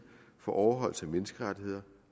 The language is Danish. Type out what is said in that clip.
for overholdelse af menneskerettighederne